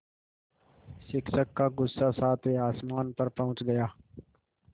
शिक्षक का गुस्सा सातवें आसमान पर पहुँच गया